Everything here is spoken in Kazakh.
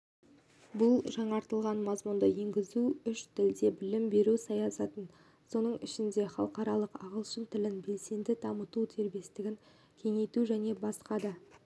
бұл жаңартылған мазмұнды енгізу үш тілде білім беру саясатын соның ішінде халықаралық ағылшын тілін белсенді дамыту дербестігін кеңейту және басқа да